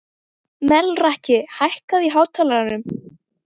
Melrakki, hækkaðu í hátalaranum.